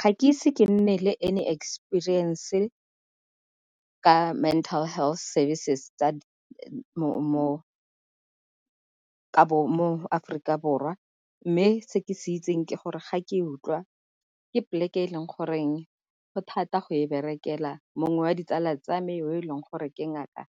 Ga ke ise ke nne le any experience ka mental health services tsa mo Aforika Borwa, mme se ke se itseng ke gore ga ke utlwa ke poleke e leng goreng go thata go e berekela mongwe wa ditsala tsa me yo e leng gore ke ngaka